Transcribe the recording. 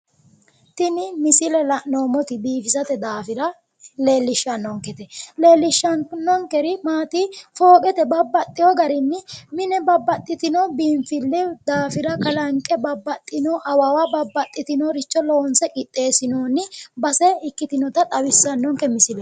Tini misile la'noommoti biifisate daafira leellishshannonkete. Leellishshannonkeri maati fooqete babbaxxiwo garinni mine babbaxxitino biinfille daafira kalanqe babbaxxino awawa babbaxxitinoricho loonse qixxeessinoonni base ikkitinota xawissannonke misileeti.